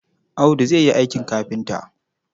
Audu zai yi aikin kafinta.